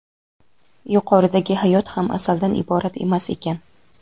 Yuqoridagi hayot ham asaldan iborat emas ekan.